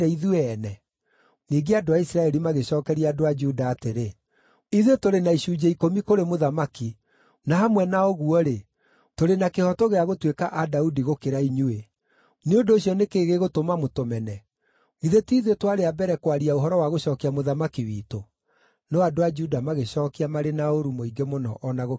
Ningĩ andũ a Isiraeli magĩcookeria andũ a Juda atĩrĩ, “Ithuĩ tũrĩ na icunjĩ ikũmi kũrĩ mũthamaki, na hamwe na ũguo-rĩ, tũrĩ na kĩhooto gĩa gũtuĩka a Daudi gũkĩra inyuĩ. Nĩ ũndũ ũcio nĩ kĩĩ gĩgũtũma mũtũmene? Githĩ ti ithuĩ twarĩ a mbere kwaria ũhoro wa gũcookia mũthamaki witũ?” No andũ a Juda magĩcookia marĩ na ũũru mũingĩ mũno o na gũkĩra andũ a Isiraeli.